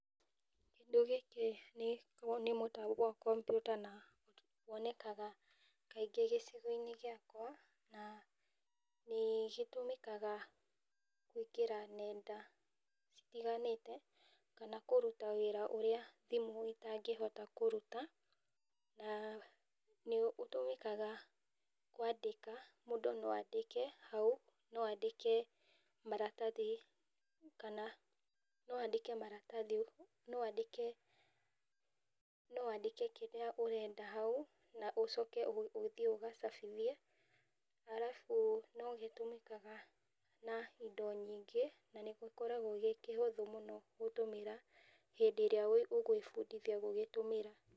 Kĩndũ gĩkĩ nĩ mũtambo wa kompiuta, na wonekaga kaingĩ gĩcigo giakwa, na nĩgĩtũmĩkaga kũingĩra nenda itiganĩte, kana kũruta wĩra ũrĩa thĩmũ itangĩhota kũruta, na nĩ ũtũmĩkaga kwandĩka, mũndũ no andĩke hau, no andĩke maratathi, kana no andĩke maratathi, no andĩke, no andĩke kĩrĩa arenda hau, na ũcoke ũthiĩ ũgacabithie , arabũ no gĩtũmĩkaga na indo nyingĩ , na nĩgĩkoragwo gĩ kĩhũthũ mũno gũtũmĩra, hĩndĩ ĩrĩa ũgwĩbundithia gũgĩtũmĩra.